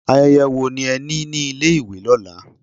Ayẹyẹ wo ni ẹ ní ní ilé ìwé lọ́la?